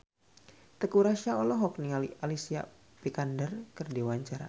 Teuku Rassya olohok ningali Alicia Vikander keur diwawancara